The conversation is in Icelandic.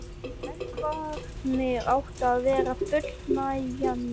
Eldvarnir áttu að vera fullnægjandi. sagði